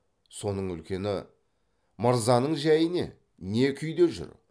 соның үлкені мырзаның жәйі не не күйде жүр